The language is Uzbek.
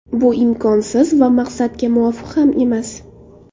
Bu imkonsiz va maqsadga muvofiq ham emas.